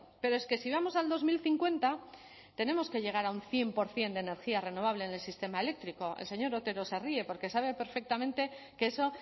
pero es que si vamos al dos mil cincuenta tenemos que llegar a un cien por ciento de energía renovable en el sistema eléctrico el señor otero se ríe porque sabe perfectamente que eso